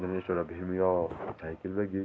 General store म यौ cycle लगीं।